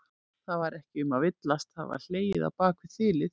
Það var ekki um að villast, það var hlegið á bak við þilið!